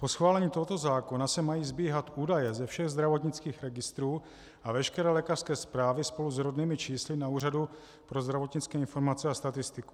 Po schválení tohoto zákona se mají sbíhat údaje ze všech zdravotnických registrů a veškeré lékařské zprávy spolu s rodnými čísly na Úřadu pro zdravotnické informace a statistiku.